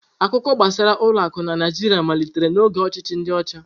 Akụkọ gbasara ụlọ akụ na Naịjirịa malitere n'oge ọchịchị ndi ocha.